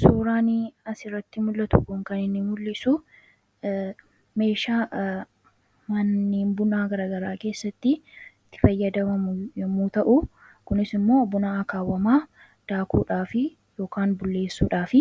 suuraani asirratti mul'atukuun kan inni mul'isu meesha manniin bunaa garagaraa keessatti itti fayyadamamu yommuu ta'u kunis immoo bunaa akaawwamaa daakuudhaaf yk bul'eessuudhaaf